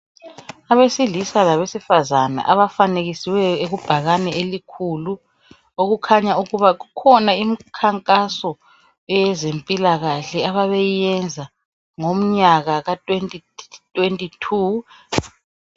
Abesilisa labesifazane abafanekisiweyo kubhakane elikhulu okukhanya ukuba kukhona imikhankaso eyezempilakahle ababeyiyenza ngomnyaka ka2022.